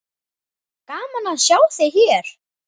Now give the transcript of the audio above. Gaman að sjá þig hér!